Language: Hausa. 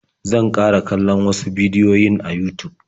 Zan ƙara kallon wasu bidiyoyin a Yutub.